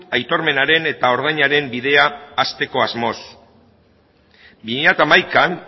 aitormenaren eta ordainaren bidea hasteko asmoz bi mila hamaikan